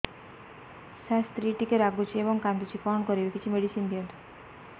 ସାର ସ୍ତ୍ରୀ ଟିକେ ରାଗୁଛି ଏବଂ କାନ୍ଦୁଛି କଣ କରିବି କିଛି ମେଡିସିନ ଦିଅନ୍ତୁ